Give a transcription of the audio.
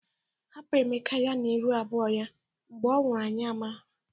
Hapụ Emeka ya na iru abụọ ya. Mgbe ọ nwụrụ anyị amara.